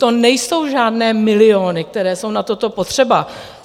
To nejsou žádné miliony, které jsou na toto potřeba.